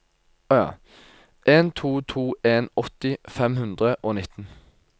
en to to en åtti fem hundre og nitten